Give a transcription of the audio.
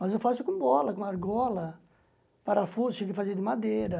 Mas eu faço com bola, com argola, parafuso, cheguei a fazer de madeira.